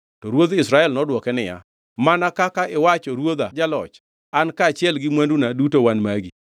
To ruodh Israel nodwoke niya, “Mana kaka iwacho ruodha jaloch, An kaachiel gi mwanduna duto wan magi.”